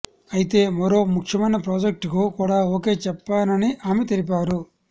అయితే మరో ముఖ్యమైన ప్రాజెక్ట్కు కూడా ఓకే చెప్పానని ఆమె తెలిపారు